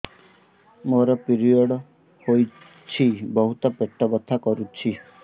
ମୋର ପିରିଅଡ଼ ହୋଇଛି ବହୁତ ପେଟ ବଥା କରୁଛି